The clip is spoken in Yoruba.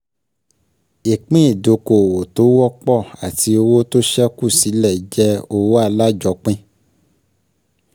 Ìpín ìdókoòwò tó wọ́pọ̀ àti owó tó ṣẹ́kù sílẹ̀ jẹ́ owó alájọpín